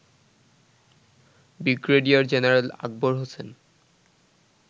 brigadier general Akbar Hossain